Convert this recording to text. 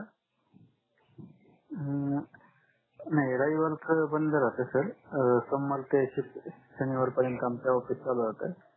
अं नाही रविवार बंद राहते सर सोमवार ते शनिवार पर्यन्त आमच ऑफिस चालू राहते